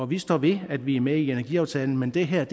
vi står ved at vi er med i energiaftalen men det her